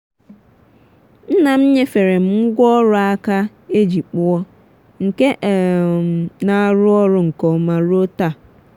nna m nyefere m ngwaọrụ aka e ji kpụọ nke ka um na-arụ ọrụ nke ọma ruo taa.